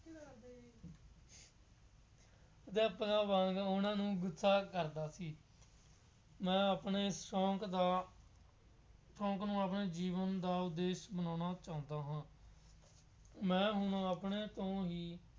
ਅਧਿਆਪਕਾਂ ਵਾਂਗ ਉਹਨਾ ਨੂੰ ਗੁੱਸਾ ਕਰਦਾ ਸੀ। ਮੈਂ ਆਪਣੇ ਸ਼ੌਂਕ ਦਾ ਸੌਂਕ ਨੂੰ ਆਪਣੇ ਜੀਵਨ ਦਾ ਉਦੇਸ਼ ਬਣਾਉਣਾ ਚਾਹੁੰਦਾ ਹਾਂ। ਮੈਂ ਹੁਣ ਆਪਣੇ ਤੋਂ ਹੀ